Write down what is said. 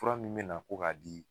Fura min mɛna ko k'a di